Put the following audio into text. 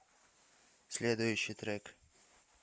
следующий трек